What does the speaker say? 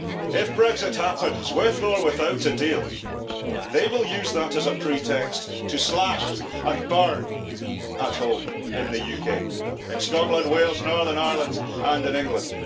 If Brexit happens with or without a deal, they will use that as a pretext to slash and burn at home in the UK, in Scotland, Wales, Northern Ireland and in England.